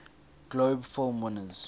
globe film winners